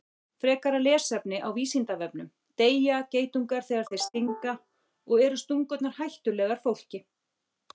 Frekara lesefni á Vísindavefnum: Deyja geitungar þegar þeir stinga og eru stungurnar hættulegar fólki?